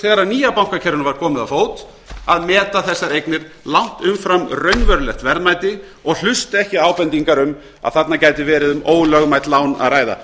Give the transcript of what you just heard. þegar nýja bankakerfinu var komið á fót að meta þessar eignir langt umfram raunverulegt verðmæti og hlusta ekki á ábendingar um að þarna gæti verið um ólögmæt lán að ræða